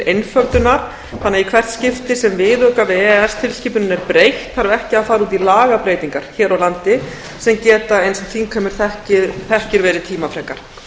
einföldunar þannig að í hert skipti sem viðauka við e e s tilskipunina er breytt þarf ekki að fara í á lagabreytingar hér á landi sem geta eins og þingheimur þekkir verið tímafrekar